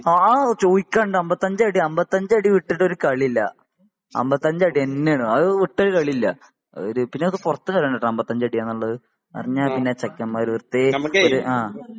ആ ചോദിക്കാനുണ്ടോ അമ്പത്തി അഞ്ച് അടി അമ്പത്തി അഞ്ച് അടി വിട്ടിട്ട് ഒരു കളി ഇല്ല . അമ്പത്തി അഞ്ച് അടി തന്നെ ആണ് അത് വിറ്റോര് കളി ഇല്ല . പിന്നെ ഇത് പുറത്തു പറയണ്ട ട്ടൊ അമ്പത്തി അഞ്ച് അടി ആണെന്നുള്ളത് . അറിഞ്ഞാ പിന്നെ ചെക്കന്മാര് വെറുതെ ഒരു ആ